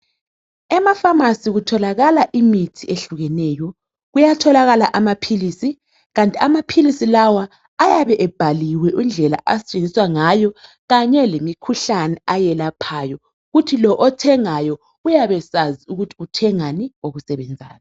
Ema"pharmacy" kutholakala imithi eyehlukeneyo. Kuyatholakala amaphilisi kanti amaphilisi lawa ayabe ebhaliwe indlela asetshenziswa ngayo kanye lemikhuhlane ayelaphayo, kuthi lo othengayo uyabe esazi ukuthi uthengani okusebenzayo.